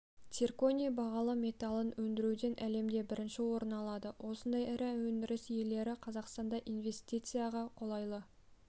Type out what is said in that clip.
цирконий бағалы металын өндіруден әлемде бірінші орын алады осындай ірі өндіріс иелері қазақстанды инвестицияға қолайлы